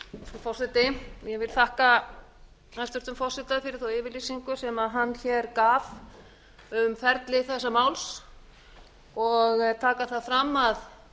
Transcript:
forseti ég vil þakka hæstvirtum forseta fyrir þá yfirlýsingu sem hún gaf hér um ferli þessa máls og taka það fram að